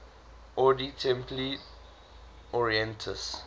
ordo templi orientis